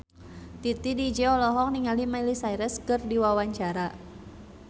Titi DJ olohok ningali Miley Cyrus keur diwawancara